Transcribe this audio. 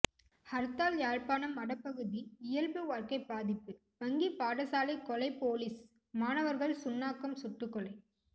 ஹர்த்தால் யாழ்ப்பாணம் வடபகுதி இயல்புவாழ்க்கை பாதிப்பு வங்கி பாடசாலை கொலை பொலிஸ் மாணவர்கள் சுன்னாகம் சுட்டுக்கொலை